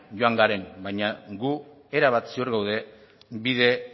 joan garen baina gu erabat ziur gaude bide